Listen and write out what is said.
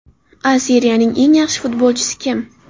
A Seriyaning eng yaxshi futbolchisi kim?